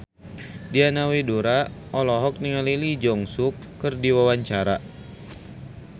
Diana Widoera olohok ningali Lee Jeong Suk keur diwawancara